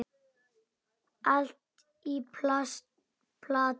Allt í plati.